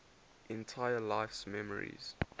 entire life's memories